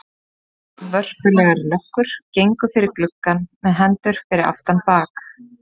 Tvær vörpulegar löggur gengu fyrir gluggann með hendur fyrir aftan bak.